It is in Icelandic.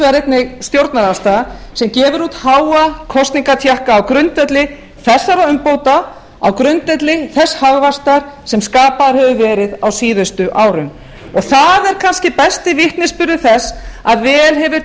finnst hér stjórnarandstaða sem gefur út háa kosningatékka á grundvelli þessara umbóta á grundvelli þess hagvaxtar sem skapaður hefur verið á síður árum það er kannski besti vitnisburður þess að vel hefur